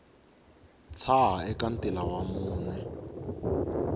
tshaha eka ntila wa mune